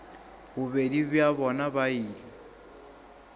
bobedi bja bona ba ile